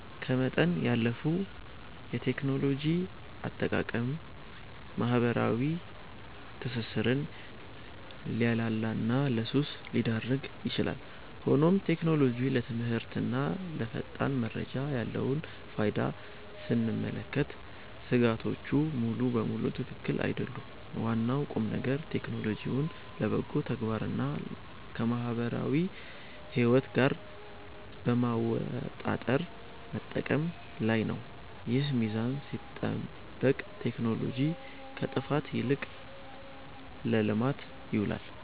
ከመጠን ያለፈ የቴክኖሎጂ አጠቃቀም ማኅበራዊ ትስስርን ሊያላላና ለሱስ ሊዳርግ ይችላል። ሆኖም ቴክኖሎጂ ለትምህርትና ለፈጣን መረጃ ያለውን ፋይዳ ስንመለከት ሥጋቶቹ ሙሉ በሙሉ ትክክል አይደሉም። ዋናው ቁምነገር ቴክኖሎጂውን ለበጎ ተግባርና ከማኅበራዊ ሕይወት ጋር በማመጣጠር መጠቀም ላይ ነው። ይህ ሚዛን ሲጠበቅ ቴክኖሎጂ ከጥፋት ይልቅ ለልማት ይውላል።